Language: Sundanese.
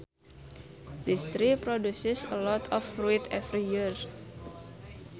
This tree produces a lot of fruit every year